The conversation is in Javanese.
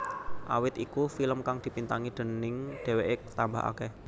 Awit iku film kang dibintangi déning dheweké tambah akeh